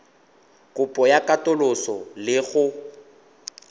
kopo ya katoloso le go